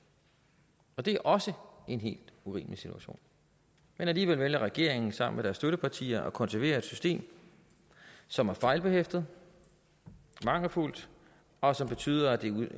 og det er også en helt urimelig situation men alligevel vælger regeringen sammen med deres støttepartier at konservere et system som er fejlbehæftet mangelfuldt og som betyder at det